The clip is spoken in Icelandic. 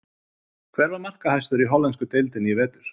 Hver var markahæstur í hollensku deildinni í vetur?